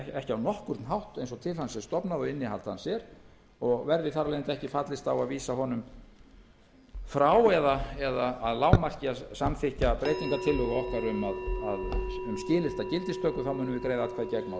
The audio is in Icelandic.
ekki á nokkurn hátt eins og til hans er stofnað og innihald hans er og verði þar af leiðandi ekki fallist á að vísa honum frá eða að lágmarki að samþykkja breytingartillögu okkar um skilyrta gildistöku þá munum við greiða atkvæði gegn málinu